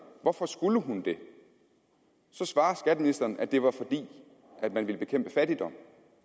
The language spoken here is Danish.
hvorfor hun skulle det svarer skatteministeren at det var fordi man ville bekæmpe fattigdom